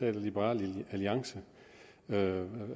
af liberal alliance